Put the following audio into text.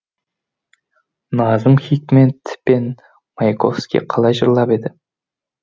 назым хикмет пен маяковский қалай жырлап еді